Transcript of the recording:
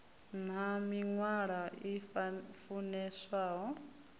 nn ha mivhala i funeswaho